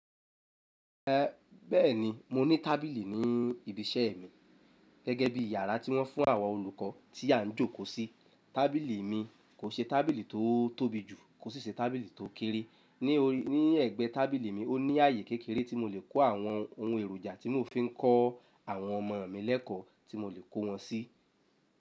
Eh bẹ́ẹ̀ni, mo ní tábìlì ní ibi iṣẹ́ mi gẹ́gẹ́ bí yàrá tí wọ́n fún àwọn olùkọ́ tí à ń jókòó sí. Tábìlì mi kò ṣe tábìlì tó tóbi jù kò sì ṣe tábìlì tó kéré. Ní ọ̀rí, ní ẹ̀gbẹ́ tábìlì mi, ó ní ààyè kékeré tí mo lè kó àwọn ohun èròjà tí mò ń fi kọ́ àwọn ọmọ mi lẹ́ẹ́kọ̀ọ́ tí mo lè kó wọn sí.